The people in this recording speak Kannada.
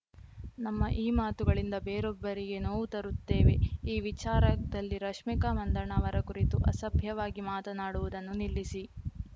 ನಮ್ಮ ಈ ಮಾತುಗಳಿಂದ ಬೇರೊಬ್ಬರಿಗೆ ನೋವು ತರುತ್ತೇವೆ ಈ ವಿಚಾರದಲ್ಲಿ ರಶ್ಮಿಕಾ ಮಂದಣ್ಣ ಅವರ ಕುರಿತು ಅಸಭ್ಯವಾಗಿ ಮಾತನಾಡುವುದನ್ನು ನಿಲ್ಲಿಸಿ